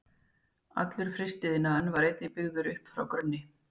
Allur frystiiðnaðurinn var einnig byggður upp frá grunni.